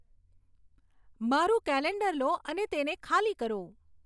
મારું કેલેન્ડર લો અને તેને ખાલી કરો